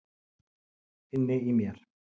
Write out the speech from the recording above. Inni í mér.